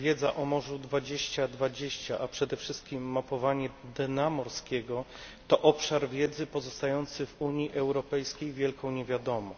Wiedza o morzu 2020, a przede wszystkim mapowanie dna morskiego, to obszar wiedzy pozostający w Unii Europejskiej wielką niewiadomą.